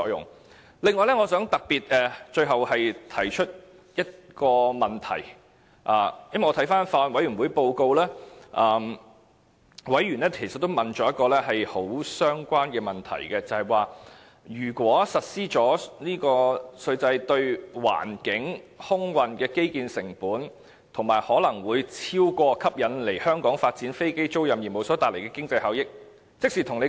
此外，我最後想特別提出一個問題。法案委員會報告顯示，委員其實也提出了一個很相關問題：一旦實施這個稅制，相關的環境及空運基建成本，會否超過吸引來香港發展飛機租賃業務所帶來的經濟效益呢？